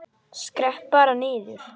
Skrepp bara niður.